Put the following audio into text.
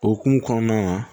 Okumu kɔnɔna na